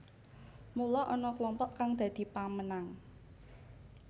Mula ana klompok kang dadi pemenang